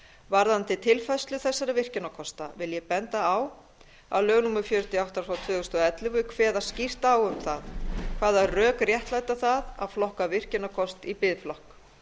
varðandi tilfærslu þessara virkjunarkosta vil ég benda á að lög númer fjörutíu og átta tvö þúsund og ellefu kveða skýrt á um það hvaða rök réttlæta það að flokka virkjunarkost í biðflokk